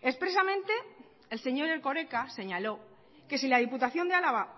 expresamente el señor erkoreka señaló que si la diputación de álava